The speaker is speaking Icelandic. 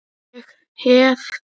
Ég hverf.